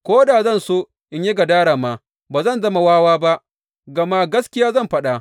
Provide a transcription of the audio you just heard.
Ko da zan so yin gadara ma, ba zan zama wawa ba, gama gaskiya zan faɗa.